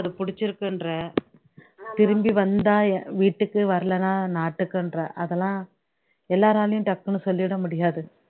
பிடிச்சி இருக்குன்ற திரும்பி வந்தா வீட்டுக்கு வரலன்னா நாட்டுக்குன்ற அதெல்லாம் எல்லாராலயும் டக்குனு சொல்லிட முடியாது